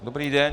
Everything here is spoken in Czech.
Dobrý den.